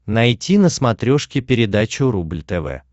найти на смотрешке передачу рубль тв